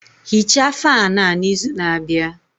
Hichaa fáan a n'izu na-abịa